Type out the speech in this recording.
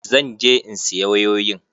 Zan je in siya wayoyin.